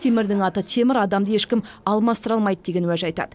темірдің аты темір адамды ешкім алмастыра алмайды деген уәж айтады